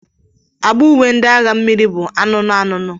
Agba uwe ndi agha mmiri bu anụnụ anụnụ.